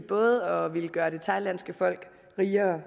både at ville gøre det thailandske folk rigere